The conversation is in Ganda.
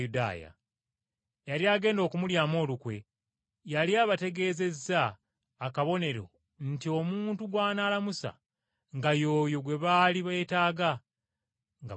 Eyali agenda okumulyamu olukwe yali abategeezezza akabonero nti omuntu gw’anaalamusa nga y’oyo gwe baali beetaaga, nga bamukwata.